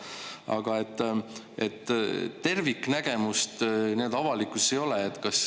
Aga terviknägemust avalikkuses ei ole.